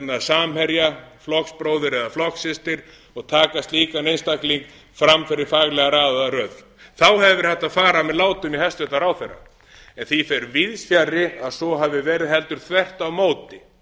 samherja flokksbróður eða flokkssystur og taka slíkan einstakling fram fyrir faglega raðaða röð þá hefði verið hægt að fara með látum í hæstvirtum ráðherra en því fer víðs fjarri að svo hafi verið heldur þvert á móti